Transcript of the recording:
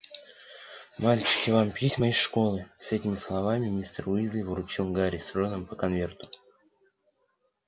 мальчики вам письма из школы с этими словами мистер уизли вручил гарри с роном по конверту